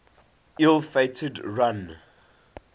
ill fated run